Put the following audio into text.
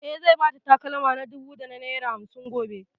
E, zai ba ta takalma na dubu da naira hamsin gobe.